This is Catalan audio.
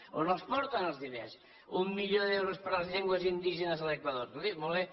on els porten els diners un milió d’euros per a les llengües indígenes a l’equador escolti molt bé